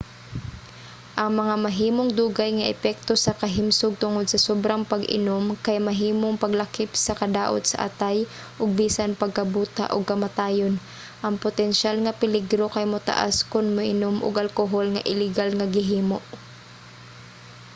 ang mga mahimong dugay nga epekto sa kahimsog tungod sa sobrang pag-inom kay mahimong maglakip sa kadaot sa atay ug bisan pagkabuta ug kamatayon. ang potensyal nga peligro kay motaas kon moinom og alkohol nga iligal nga gihimo